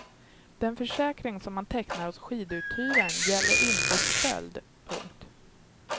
Den försäkring som man tecknar hos skiduthyraren gäller inte stöld. punkt